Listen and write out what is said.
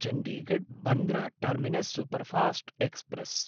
चण्डीगढ्–बन्द्रा terminus superfast express